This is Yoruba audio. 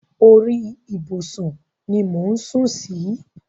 Orí ìbùsùn ni mò ń sù sí.